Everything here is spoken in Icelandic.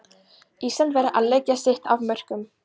Ísland verður að leggja sitt af mörkum.